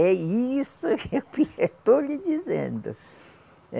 É isso que eu estou lhe dizendo. Eh